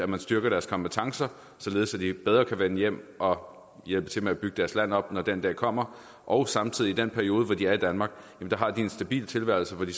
man styrker deres kompetencer således at de bedre kan vende hjem og hjælpe til med at bygge deres land op når den dag kommer og i den periode hvor de er i danmark har de en stabil tilværelse hvor de